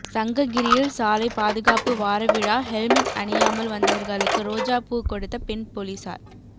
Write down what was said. சங்ககிரியில் சாலை பாதுகாப்பு வாரவிழா ஹெல்மெட் அணியாமல் வந்தவர்களுக்கு ரோஜா பூ கொடுத்த பெண் போலீசார்